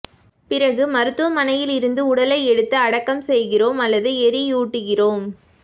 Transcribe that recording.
பிறகு மருத்துவமனையில் இருந்து உடலை எடுத்து அடக்கம் செய்கிறோம் அல்லது எரியூட்டுகிறோம்